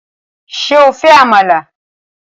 Ṣé o fẹ́ Àmàlà?